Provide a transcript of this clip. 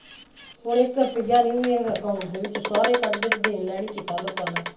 ਹੁਣ ਇੱਕ ਰੁਪਇਆ ਨਹੀਂ ਹੈਗਾ account ਦੇ ਵਿਚ ਸਾਰੇ ਕੱਢ ਕੇ ਤੇ ਦੇਣ ਲੈਣ ਹੀ ਕੀਤਾ ਲੋਕਾਂ ਦਾ।